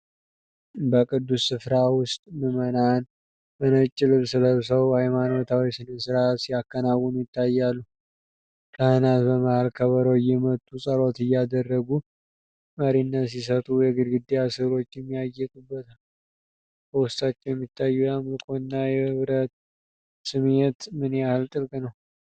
በቅዱስ ስፍራ ውስጥ ምዕመናን በነጭ ልብስ ለብሰው ሃይማኖታዊ ሥነ ሥርዓት ሲያከናውኑ ይታያሉ፤ ካህናት በመሃል ከበሮ እየመቱና ጸሎት እያደረጉ መሪነት ሲሰጡ፣ የግድግዳ ሥዕሎችም ያጌጡበታል። በውስጣቸው የሚታየው የአምልኮ እና የህብረት ስሜት ምን ያህል ጥልቅ ነው?